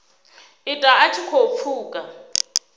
ita a tshi khou pfuka